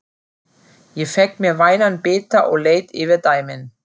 Ég fékk mér vænan bita og leit yfir dæmin.